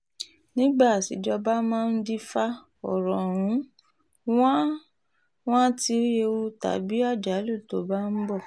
nígbà àtijọ́ ọba máa ń dìfà ọ̀rọ̀ọ̀rún wọn àá ti rí ewu tàbí àjálù tó bá ń bọ̀